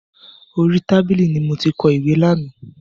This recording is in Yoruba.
Orí tábìlì ni mo ti kọ ìwé lánàá.